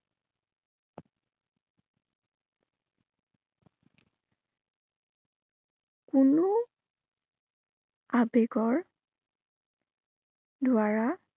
কোনো আবেগৰ দ্বাৰা